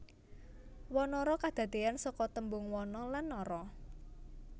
Wanara kadadeyan saka tembung wana lan nara